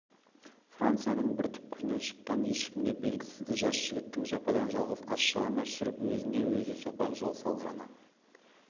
францияның бір түкпірінен шыққан ешкімге белгісіз жас жігіттің жападан-жалғыз аш-жалаңаш жүріп өзіне-өзі соқпақ жол салғаны